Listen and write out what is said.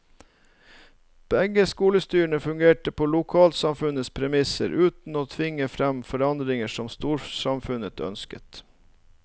Begge skolestyrene fungerte på lokalsamfunnets premisser, uten å tvinge frem forandringer som storsamfunnet ønsket.